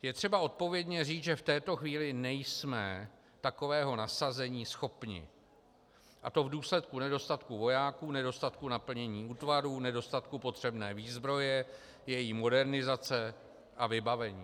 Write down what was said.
Je třeba odpovědně říct, že v této chvíli nejsme takového nasazení schopni, a to v důsledku nedostatku vojáků, nedostatku naplnění útvarů, nedostatku potřebné výzbroje, její modernizace a vybavení.